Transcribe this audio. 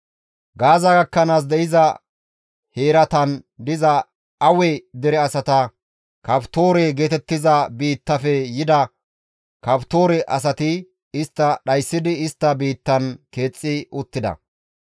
Gaaza gakkanaas de7iza heeratan diza Awe dere asata Kaftoore geetettiza biittafe yida Kaftoore asati istta dhayssidi istta biittan keexxi uttida.]